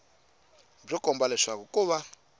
byo komba leswaku ko va